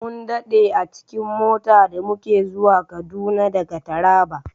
Mun daɗe a cikin mota da muke zuwa Kaduna daga Taraba.